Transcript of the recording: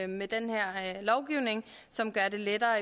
med den her lovgivning som gør det lettere